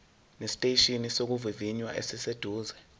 esiteshini sokuvivinya esiseduze